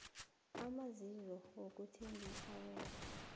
amasiso wokuthengisa webee